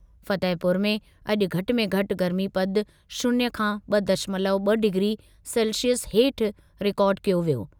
फतेहपुर में अॼु घटि में घटि गर्मीपदु शून्य खां ॿ दशमलव ॿ डिग्री सेल्सिअस हेठि रिकार्ड कयो वियो।